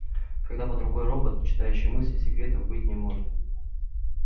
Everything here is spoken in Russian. когда под рукой робот читающий мысли секретов быть не может